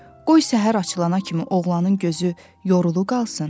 Qoy səhər açılana kimi oğlanın gözü yorulu qalsın,